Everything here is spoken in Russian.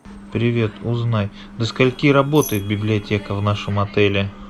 привет узнай до скольки работает библиотека в нашем отеле